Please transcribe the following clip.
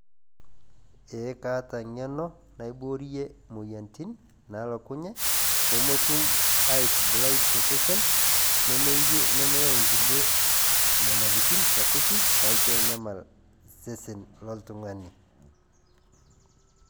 Ee kaata eng'eno naiborie imoyiaritin naalokunye peemetum aatubulai tosesen nemeyau kulie nyamalitin sapuki naitanyamal sesen loltung'ani.